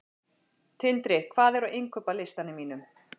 Tindri, hvað er á innkaupalistanum mínum?